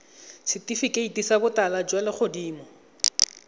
setifikeiti sa botala jwa legodimo